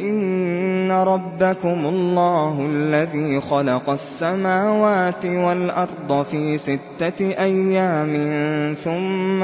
إِنَّ رَبَّكُمُ اللَّهُ الَّذِي خَلَقَ السَّمَاوَاتِ وَالْأَرْضَ فِي سِتَّةِ أَيَّامٍ ثُمَّ